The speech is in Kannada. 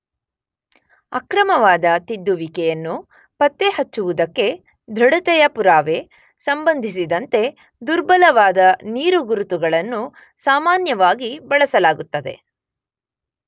ಅಕ್ರಮವಾದ ತಿದ್ದುವಿಕೆಯನ್ನು ಪತ್ತೆಹಚ್ಚುವುದಕ್ಕೆ (ದೃಢತೆಯ ಪುರಾವೆ) ಸಂಬಂಧಿಸಿದಂತೆ ದುರ್ಬಲವಾದ ನೀರುಗುರುತುಗಳನ್ನು ಸಾಮಾನ್ಯವಾಗಿ ಬಳಸಲಾಗುತ್ತದೆ.